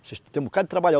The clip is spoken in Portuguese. Você tem um bocado de